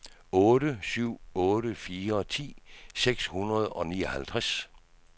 otte syv otte fire ti seks hundrede og nioghalvtreds